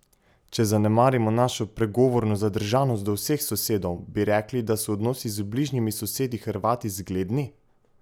Če zanemarimo našo pregovorno zadržanost do vseh sosedov, bi rekli, da so odnosi z bližnjimi sosedi Hrvati zgledni?